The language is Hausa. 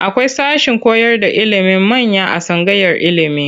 Akwai sashen koyarda ilimin manya a tsangayar ilimi.